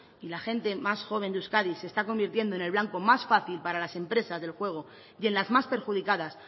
y la gente más joven de euskadi se está convirtiendo en el blanco más fácil para las empresas del juego y en las más perjudicadas